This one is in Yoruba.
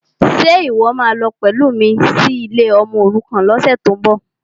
Ṣe ìwọ́ máa lọ pẹ̀lú mi sí ilé ọmọòrukàn lọ́sẹ̀tíbọ̀?